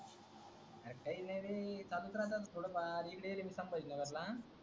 अरे काई नई रे चालू च राहत ना थोड फार इकडे इलंय मी संभाजीनगर